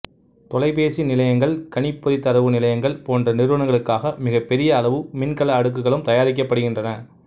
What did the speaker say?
தொலைபேசி நிலையங்கள் கணிப்பொறித் தரவு நிலையங்கள் போன்ற நிறுவனங்களுக்காக மிகப்பெரிய அளவு மின்கல அடுக்குகளும் தயாரிக்கப்படுகின்றன